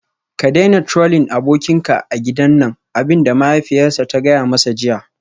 Ka daina Trolling abokinka a gidan nan abin da mahaifiyarsa ta gaya masa jiya